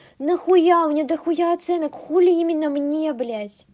нахуя у меня дохуя оценок хули именно мне блять